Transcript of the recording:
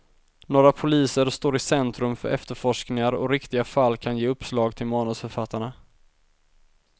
Några poliser står i centrum för efterforskningar och riktiga fall kan ge uppslag till manusförfattarna.